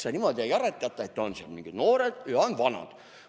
Metsa niimoodi ei aretata, et on mingid noored või on vanad.